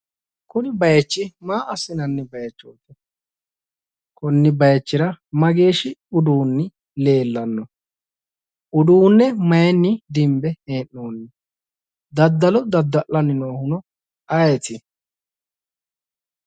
Kuni baaychi maa assinanni baaychooti? konni baaychira mageeshshi uduunni leellanno? uduunne maayinni dinbe hee'noonni? daddalo dadda'lanni noohuno ayeeti?